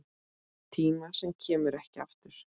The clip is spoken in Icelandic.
Tíma sem kemur ekki aftur.